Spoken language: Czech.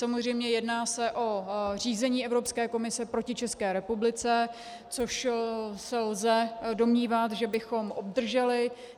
Samozřejmě se jedná o řízení Evropské komise proti České republice, což se lze domnívat, že bychom obdrželi.